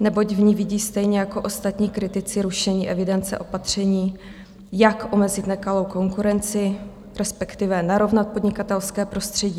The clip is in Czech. neboť v ní vidí stejně jako ostatní kritici rušení evidence opatření, jak omezit nekalou konkurenci, respektive narovnat podnikatelské prostředí.